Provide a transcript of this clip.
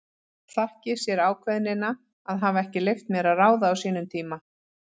Þakki sér ákveðnina að hafa ekki leyft mér að ráða á sínum tíma.